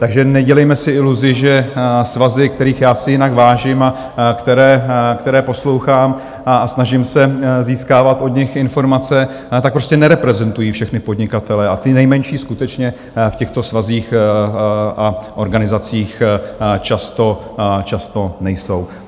Takže nedělejme si iluzi, že svazy, kterých já si jinak vážím a které poslouchám a snažím se získávat od nich informace, tak prostě nereprezentují všechny podnikatele a ti nejmenší skutečně v těchto svazích a organizacích často nejsou.